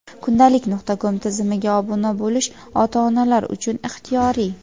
Kundalik.com tizimiga obuna bo‘lish ota-onalar uchun ixtiyoriy.